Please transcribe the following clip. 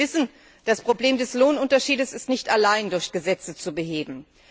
Wir wissen Das Problem des Lohnunterschieds ist nicht allein durch Gesetze zu beheben.